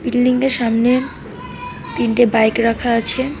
বিল্ডিংয়ের সামনে তিনটে বাইক রাখা আছে।